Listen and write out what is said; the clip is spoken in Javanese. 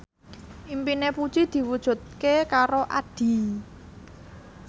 impine Puji diwujudke karo Addie